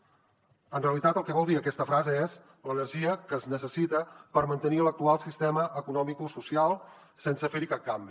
en realitat el que vol dir aquesta frase és l’energia que es necessita per mantenir l’actual sistema economicosocial sense fer hi cap canvi